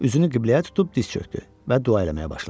Üzünü qibləyə tutub diz çökdü və dua eləməyə başladı.